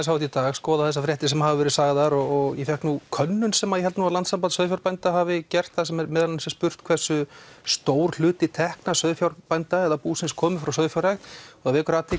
í dag skoða þessar fréttir sem hafa verið sagðar og ég fékk nú könnun sem ég held að landssamband sauðfjárbænda hafi gert þar sem meðal annars er spurt hversu stór hluti tekna sauðfjárbænda eða búsins koma frá sauðfjárrækt og það vekur athygli